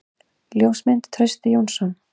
Ljósmynd: Trausti Jónsson.